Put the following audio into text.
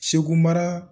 Segu mara